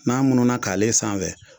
N'a mununa kalen sanfɛ